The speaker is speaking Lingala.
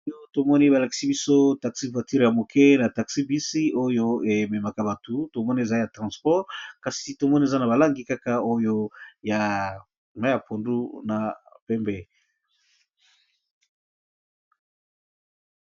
oo tomoni balakisi biso taxi vature ya moke na taxi bisi oyo ememaka bato tomoni eza ya transport kasi tomoni eza na balangi kaka oyo ya maya pondu na pembe